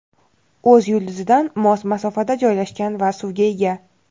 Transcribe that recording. o‘z yulduzidan mos masofada joylashgan va suvga ega.